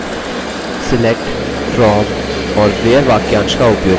select from और where वाक्यांश का उपयोग करना